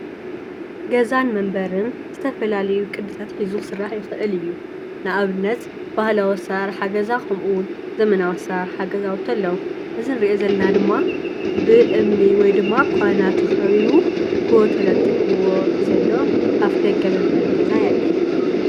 ኣብ ትግራይ ከባቢ ገጠር ዝርከብ መንበሪ ገዛ እንትከውን ብኳና እምኒን ጭቃን ዝተነደቀ ኣብ ውሽጡ ድማ ቆዋሚ ዓበይቲ ተክሊ ዘለዎ ኮይኑ ፣ ኣብቲ መንደቅ ዒባ ዝተጎድጎደ ዝደረቀን ሓድሽን ኣለዎ።